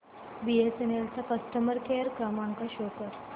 BSNL चा customer care क्रमांक show कर